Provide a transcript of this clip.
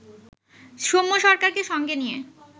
সৌম্য সরকারকে সঙ্গে নিয়ে